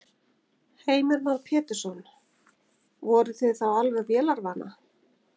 Heimir Már Pétursson: Voruð þið þá alveg vélarvana?